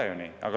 Ei ole ju nii!